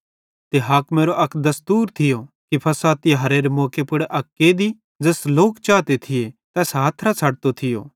ते हाकिमेरो अक दस्तूर थियो कि फ़सह तिहारेरे मौके पुड़ अक कैदी ज़ैस लोक चाते थिये तैस हथरां छ़डतो थियो